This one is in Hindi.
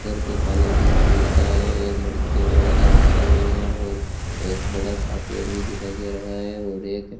घर को पानी भी मिलता है एक लड़की और लड़का भी खड़े हुए हैं और एक बड़ा सा पेड़ भी दिखाई दे रहा है और एक --